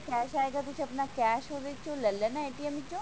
cash ਆਏਗਾ ਤੁਸੀਂ ਆਪਣਾ cash ਵਿੱਚੋ ਲਈ ਲੈਣਾ ਚੋਂ